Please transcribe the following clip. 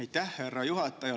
Aitäh, härra juhataja!